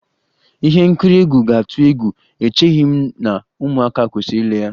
Ihe nkiri egwu ga-atụ egwu, echeghị m na ụmụaka kwesịrị ile ya